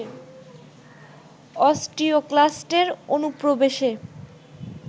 অস্টিওক্লাস্টের অনুপ্রবেশে